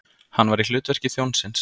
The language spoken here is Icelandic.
Hann var í hlutverki þjónsins.